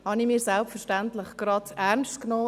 Das habe ich selbstverständlich ernst genommen.